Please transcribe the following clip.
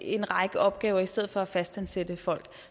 en række opgaver i stedet for at fastansætte folk